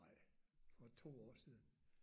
Ej for 2 år siden